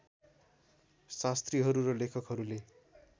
शास्त्रीहरू र लेखकहरूले